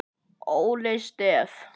Óli Stef.